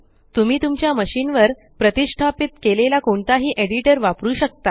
तुम्ही तुमच्या मशीन वर प्रतिष्ठापित केलेला कोणताही एडिटर वापरु शकता